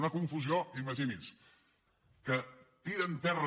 una confusió imagini’s que tira en terra